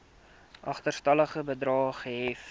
agterstallige bedrae gehef